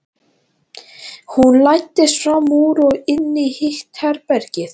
Hún læddist fram úr og inn í hitt herbergið.